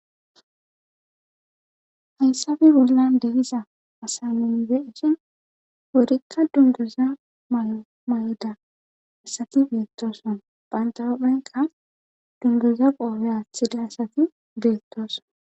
hayssappe bollan de'iza asa nuni be'shin wurikka dunguza mayida asati beettooson banta hupheka dunguza qoobe aathida asati beettooson